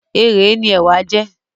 Ẹrèé ni ẹ̀wà jẹ́